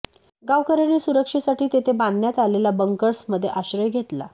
गावकऱ्यांनी सुरक्षेसाठी तेथे बांधण्यात आलेल्या बंकर्स मध्ये आश्रय घेतला